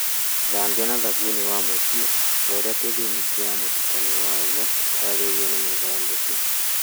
Thambia na thabuni wa mũtu o ta ũria gĩthimi kĩa mũtukanio waguo ũtarĩirio nĩ mũũthondeki.